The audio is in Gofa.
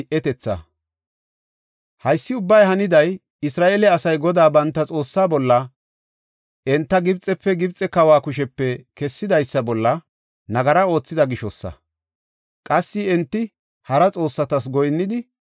Haysi ubbay haniday, Isra7eele asay Godaa banta Xoossaa bolla, enta Gibxefe, Gibxe kawa kushepe kessidaysa bolla nagara oothida gishosa. Qassi enti hara xoossatas goyinnidi,